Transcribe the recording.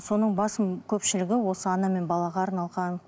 соның басым көпшілігі осы ана мен балаға арналған